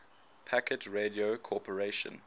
packet radio corporation